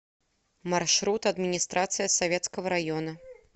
маршрут администрация советского района